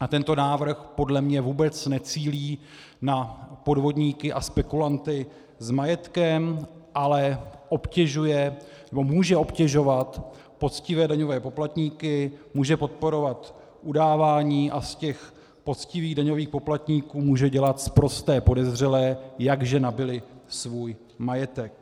a tento návrh podle mě vůbec necílí na podvodníky a spekulanty s majetkem, ale obtěžuje nebo může obtěžovat poctivé daňové poplatníky, může podporovat udávání a z těch poctivých daňových poplatníků může dělat sprosté podezřelé, jakže nabyli svůj majetek.